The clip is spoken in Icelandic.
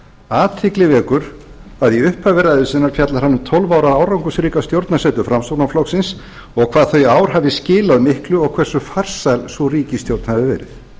athygli vekur að í upphafi ræðu sinnar fjallar hann um tólf ára árangursríka stjórnarsetu framsóknarflokksins og hvað þau ár hafi skilað miklu og hversu farsæl sú ríkisstjórn hafi verið